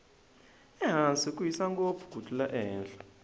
ehansi ku hisa ngopfu ku tlula ehenhla